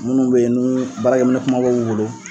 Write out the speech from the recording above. Minnu bɛ yen nu baarakɛ minɛ kumabaw b'u bolo.